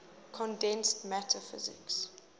condensed matter physics